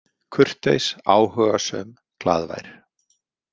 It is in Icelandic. Kurteis, áhugasöm, glaðvær.